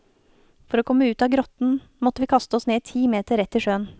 For å komme ut av grotten, måtte vi kaste oss ned ti meter rett i sjøen.